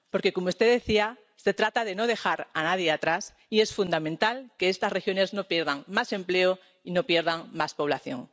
Porque, como usted decía, se trata de no dejar a nadie atrás y es fundamental que estas regiones no pierdan más empleo y no pierdan más población.